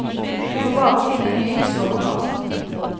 Du må bare finne en ny, slår hun fast.